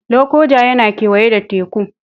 Lokoja yana kewaye da Teku